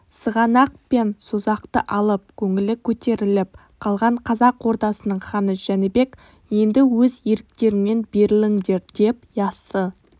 сығанақ пен созақты алып көңілі көтеріліп қалған қазақ ордасының ханы жәнібек енді өз еріктеріңмен беріліңдердеп яссы